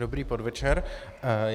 Dobrý podvečer.